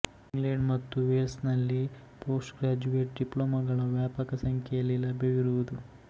England ಮತ್ತು ವೇಲ್ಸನಲ್ಲಿ postgraduate ಡಿಪ್ಲೋಮಾಗಳ ವ್ಯಾಪಕ ಸಂಖ್ಯೆಯಲ್ಲಿ ಲಭ್ಯವಿರುವುದು